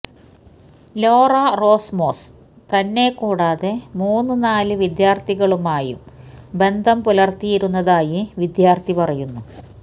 Laura Romos തന്നെക്കൂടാതെ മൂന്ന് നാല് വിദ്യാര്ത്ഥികളുമായും ബന്ധം പുലര്ത്തിയിരുന്നതായി വിദ്യാര്ത്ഥി പറയുന്നു